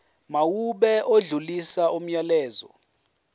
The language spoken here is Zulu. mawube odlulisa umyalezo